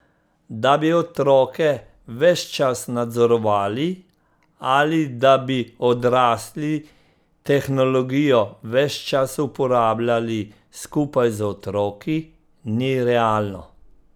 Da bi otroke ves čas nadzorovali ali da bi odrasli tehnologijo ves čas uporabljali skupaj z otroki, ni realno.